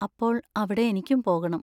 അപ്പോൾ അവിടെ എനിക്കും പോകണം.